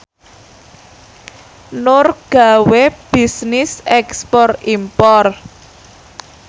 Nur gawe bisnis ekspor impor